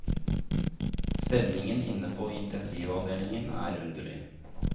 Stemningen inne på intensivavdelingen er underlig.